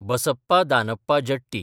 Basappa Danappa Jatti